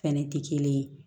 Fɛnɛ tɛ kelen ye